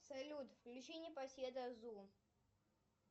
салют включи непоседа зу